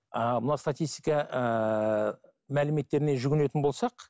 ааа мына статистика ііі мәліметтеріне жүгінетін болсақ